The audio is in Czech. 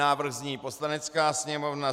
Návrh zní: "Poslanecká sněmovna